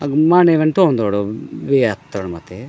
अग माने वेन तोंन दोडो यातर्माते।